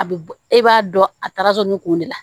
A bɛ bɔ e b'a dɔn a taara so ni kun de la